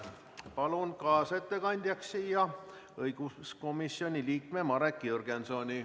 Palun kaasettekandjaks õiguskomisjoni liikme Marek Jürgensoni.